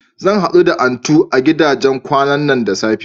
Zan haɗu da Antu a gidajen kwanan da safe.